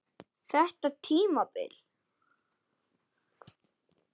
Þetta tímabil?